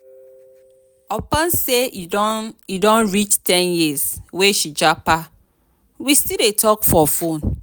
upon sey e don e don reach ten years wey she japa we still dey talk for fone.